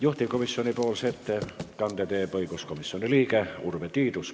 Juhtivkomisjoni ettekande teeb õiguskomisjoni liige Urve Tiidus.